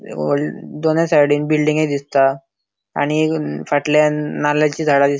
वॉडल दोनअ साइडीन बिल्डिंगे दिसता आणि फाटल्यान नाल्लाची झाडा दिस --